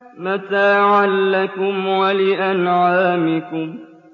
مَتَاعًا لَّكُمْ وَلِأَنْعَامِكُمْ